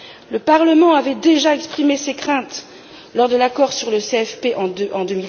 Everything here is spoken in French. Le Parlement avait déjà exprimé ses craintes au moment de l'accord sur le CFP en